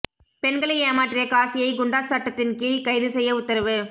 பெண்களை ஏமாற்றிய காசியை குண்டாஸ் சட்டத்தின் கீழ் கைது செய்ய உத்தரவு